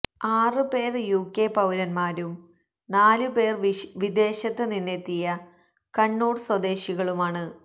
ആറ് പേര് യുകെ പൌരന്മാരും നാലു പേര് വിദേശത്ത് നിന്നെത്തിയ കണ്ണൂര് സ്വദേശികളുമാണ്